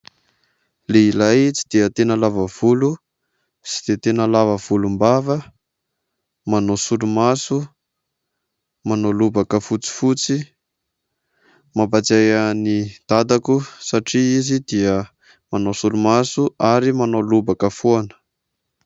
Lehilahy tsy dia tena lava volo, tsy dia tena lava volombava, manao solomaso, manao lobaka fotsifotsy. Mampahatsiahy ahy ny dadako satria izy dia manao solomaso ary manao lobaka foana.